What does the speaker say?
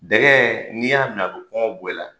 Dɛgɛ n'i y'a mi a bi kɔngɔ bɔ i la.